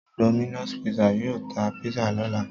Domino's pizza yóò ta pizza lọ́la.